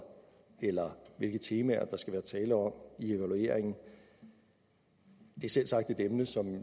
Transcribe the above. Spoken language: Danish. eller hvilke temaer der skal være tale om i evalueringen det er selvsagt et emne som